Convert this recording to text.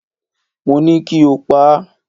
Mo ní kí o pa á!